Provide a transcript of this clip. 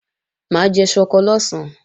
Mà á jẹ ṣọkọ lọ̀sán